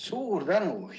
Suur tänu!